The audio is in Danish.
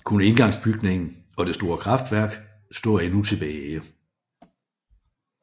Kun indgangsbygningen og det store kraftværk står endnu tilbage